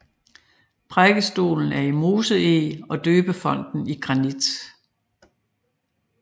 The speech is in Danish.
Prædikestolen er i moseeg og døbefonten i granit